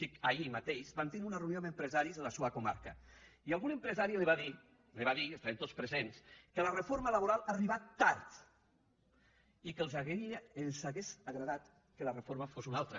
dic ahir mateix vam tindre una reunió amb empresaris de la seua comarca i algun empresari li va dir li ho va dir estàvem tots presents que la reforma laboral ha arribat tard i que els hauria agradat que la reforma fos una altra